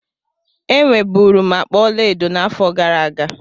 Enwe bụrụ m akpa ọlaedo n'afọ gara aga.